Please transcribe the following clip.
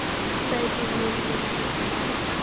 Hverjum munum við mæta??